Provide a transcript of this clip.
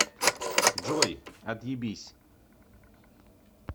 джой отъебись